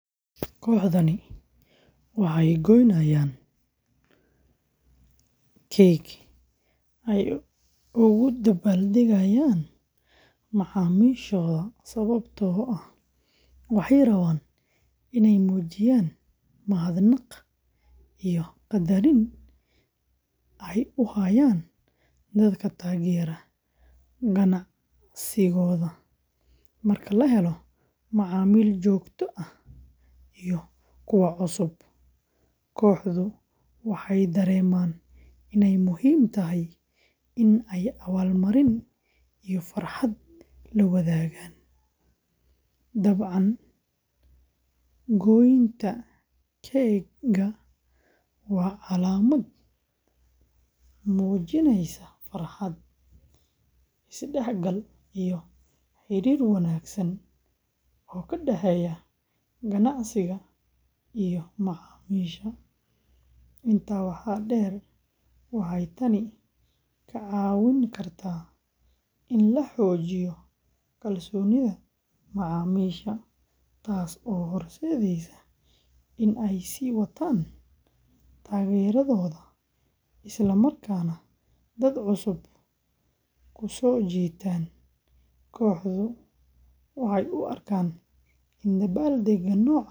Kooxdani waxay gooynayaan keg ay ugu dabbaaldegayaan macaamiishooda sababtoo ah waxay rabaan inay muujiyaan mahadnaq iyo qadarin ay u hayaan dadka taageera ganacsigooda. Marka la helo macaamiil joogto ah iyo kuwa cusubba, kooxdu waxay dareemaan inay muhiim tahay in ay abaalmarin iyo farxad la wadaagaan. Dabcan, gooynta keg-ga waa calaamad muujineysa farxad, isdhexgal iyo xiriir wanaagsan oo ka dhexeeya ganacsiga iyo macaamiisha. Intaa waxaa dheer, waxay tani ka caawin kartaa in la xoojiyo kalsoonida macaamiisha, taas oo horseedaysa in ay sii wataan taageeradooda isla markaana dad cusub ku soo jiitaan. Kooxdu waxay u arkaan in dabaaldegga noocan.